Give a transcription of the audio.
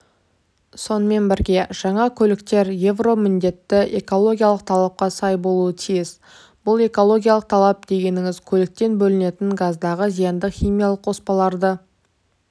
сонымен бірге жаңа көліктертер евро міндетті экологиялық талапқа сай болуы тиіс бұл экологиялық талап дегеніңіз көліктен бөлінетін газдағы зиянды химиялық қоспаларды